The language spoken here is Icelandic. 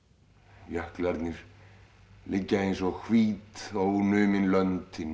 jöklarnir liggja eins og hvít ónumin lönd inni í